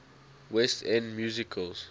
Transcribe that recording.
west end musicals